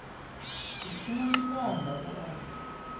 u tshina tshikanda u a